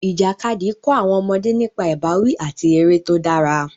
Ìjàkadì kọ́ àwọn ọmọdé nípa ìbáwí àti eré tó dára.